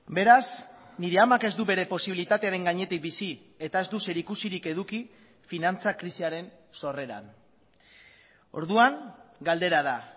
beraz nire amak ez du bere posibilitatearen gainetik bizi eta ez du zerikusirik eduki finantza krisiaren sorreran orduan galdera da